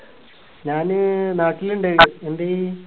ഞാന് നാട്ടില് ഇണ്ട് എന്തെയ്